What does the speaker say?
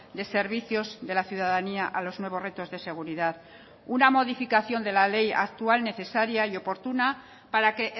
de servicios de la ciudadanía a los nuevos retos de seguridad una modificación de la ley actual necesaria y oportuna para que